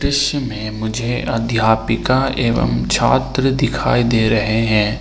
दृश्य में मुझे अध्यापिका एवम छात्र दिखाई दे रहे हैं।